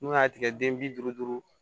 N'u y'a tigɛ den bi duuru duuru